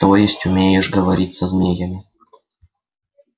то есть умеешь говорить со змеями